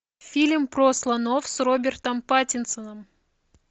фильм про слонов с робертом паттинсоном